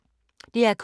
DR K